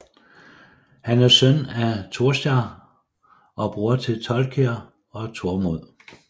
Han er søn af Tjórstar og bror til Torkeir og Tormod